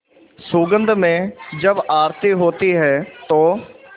सुगंध में जब आरती होती है तो